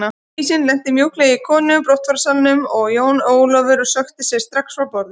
Dísin lenti mjúklega í komu og brottfararsalnum og Jón Ólafur stökk strax frá borði.